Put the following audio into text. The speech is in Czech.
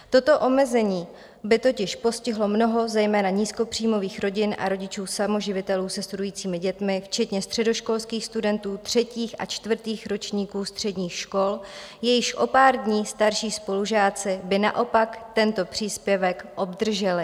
Toto omezení by totiž postihlo mnoho zejména nízkopříjmových rodin a rodičů samoživitelů se studujícími dětmi, včetně středoškolských studentů třetích a čtvrtých ročníků středních škol, jejichž o pár dní starší spolužáci by naopak tento příspěvek obdrželi.